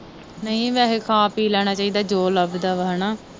ਨਹੀਂ ਵੈਸੇ ਖਾ ਪੀ ਲੈਣਾ ਚਾਹੀਦਾ ਜੋ ਲੱਭਦਾ ਵਾ ਹੇਨਾ।